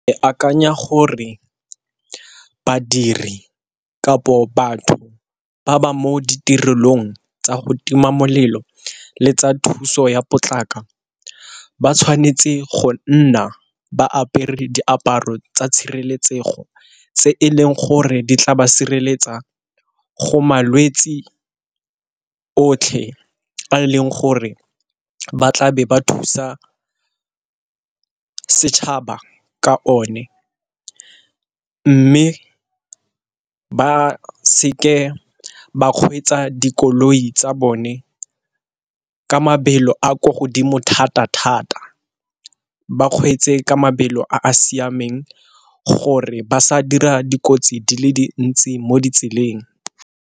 Ke akanya gore badiri kapo batho ba ba mo ditirelong tsa go tima molelo le tsa thuso ya potlako ba tshwanetse go nna ba apere diaparo tsa tshireletsego, tse e leng gore di tla ba sireletsa go malwetsi otlhe a leng gore ba tlabe ba thusa setšhaba ka one. Mme ba seke ba kgweetsa dikoloi tsa bone ka mabelo a ko godimo thata-thata ba kgweetse ka mabelo a a siameng gore ba sa dira dikotsi di le dintsi mo ditseleng.